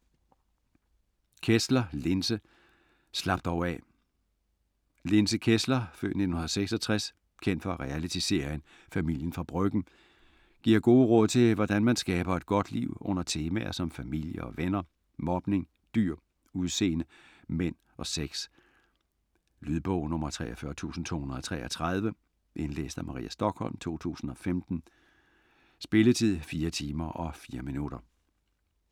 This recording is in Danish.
Kessler, Linse: Slap dog af Linse Kessler (f. 1966), kendt fra reality-serien "Familien fra Bryggen", giver gode råd til hvordan man skaber et godt liv under temaer som familie og venner, mobning, dyr, udseende, mænd og sex. Lydbog 43233 Indlæst af Maria Stokholm, 2015. Spilletid: 4 timer, 4 minutter.